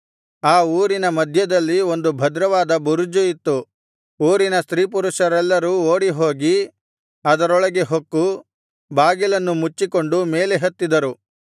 ಆ ಊರಿನ ಮಧ್ಯದಲ್ಲಿ ಒಂದು ಭದ್ರವಾದ ಬುರುಜು ಇತ್ತು ಊರಿನ ಸ್ತ್ರೀಪುರುಷರೆಲ್ಲರೂ ಓಡಿಹೋಗಿ ಅದರೊಳಗೆ ಹೊಕ್ಕು ಬಾಗಿಲನ್ನು ಮುಚ್ಚಿಕೊಂಡು ಮೇಲೆ ಹತ್ತಿದರು